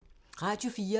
Radio 4